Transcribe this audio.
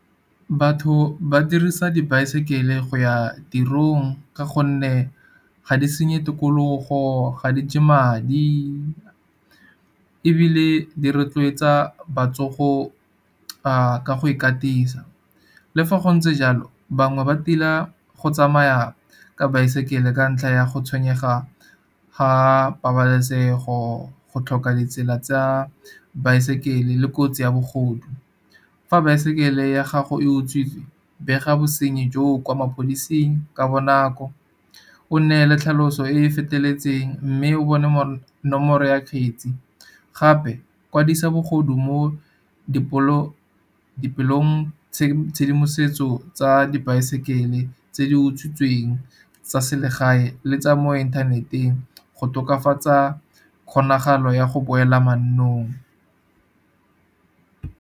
Batho ba dirisa dibaesekele go ya tirong, ka gonne ga di senye tikologo, ga di je madi ebile di rotloetsa botsogo a ka go ikatisa. Le fa go ntse jalo bangwe ba tila go tsamaya ka baesekele ka ntlha ya go tshwenyega ga pabalesego, go tlhoka ditsela tsa baesekele le kotsi ya bogodu. Fa baesekele ya gago e utswitswe bega bosenyi joo kwa maplasing ka bonako, o nneele tlhaloso e e feteletseng mme o bone nomoro ya kgetsi. Gape kwadisa bogodu mo tshedimosetso tsa dibaesekele tse di utswitsweng tsa selegae, le tsa mo inthaneteng go tokafatsa kgonagalo ya go boela mannong.